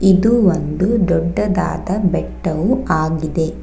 ಇದು ಒಂದು ದೊಡ್ಡದಾದ ಬೆಟ್ಟವು ಆಗಿದೆ.